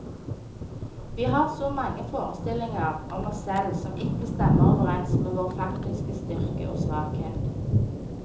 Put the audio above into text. Vi har så mange forestillinger om oss selv som ikke stemmer overens med vår faktiske styrke og svakhet.